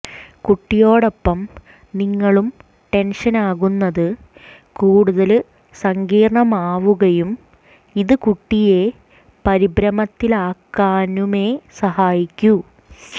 കുട്ടിയോടൊപ്പം നിങ്ങളും ടെന്ഷനാകുന്നത് കൂടുതല് സങ്കീര്ണമാവുകയും ഇത് കുട്ടിയെ പരിഭ്രമത്തിലാക്കാനുമേ സഹായിക്കൂ